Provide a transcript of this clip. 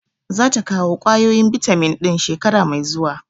Za ta kawo ƙwayoyin bitamin ɗin shekara mai zuwa.